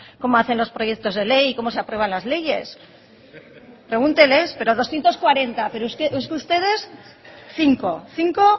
cómo hacen los proyectos de ley y cómo se aprueban las leyes pregúnteles doscientos cuarenta pero es que ustedes cinco cinco